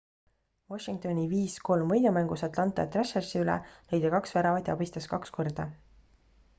washingtoni 5 : 3 võidumängus atlanta thrashersi üle lõi ta kaks väravat ja abistas kaks korda